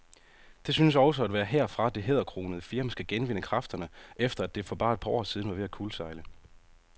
Det synes også at være herfra, det hæderkronede firma skal genvinde kræfterne, efter at det for bare et par år siden var ved at kuldsejle.